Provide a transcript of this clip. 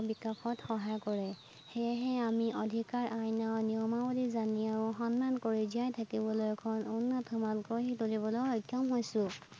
সেয়েহে আমি অধিকাৰ আইনৰ নিয়মাৱলী জানি আৰু সন্মান কৰি জীয়াই থাকিবলৈ এখন উন্নত সমাজ গঢ়ি তুলিবলৈ সক্ষম হৈছো।